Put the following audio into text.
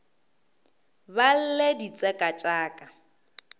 ba lle ditseka tša ka